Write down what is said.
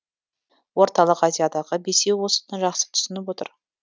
орталық азиядағы бесеу осыны жақсы түсініп отыр